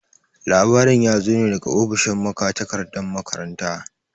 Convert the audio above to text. Labarin ya zo ne daga ofishin magatakardan makaranta.